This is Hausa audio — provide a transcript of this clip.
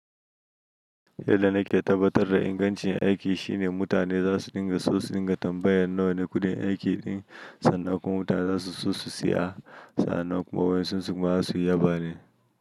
Yanda da ke tabbatar da ingancin aiki shine mutane za su ɗinga so su ɗinga tambayar nawa ne kuɗin aikin sannan kuma mutane za su so su siya. Sannan kuma wasu su kuma su yi ya bane.